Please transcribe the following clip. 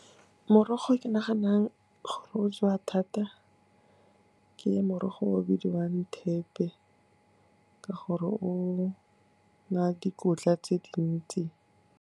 Morogo ke naganang gore o jewa thata ke morogo o bidiwang thepe, ka gore o na le dikotla tse dintsi.